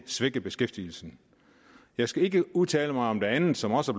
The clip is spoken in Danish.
svække beskæftigelsen jeg skal ikke udtale mig om det andet som også